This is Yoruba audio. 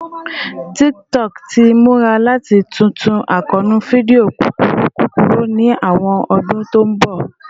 TikTok ti mura lati tuntu akoonu fidio kukuru kukuru ni awọn ọdun to n bọ